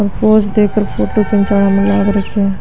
पोज दे कर फोटो खींचने लग रखे हैं।